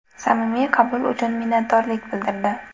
Samimiy qabul uchun minnatdorlik bildirdi.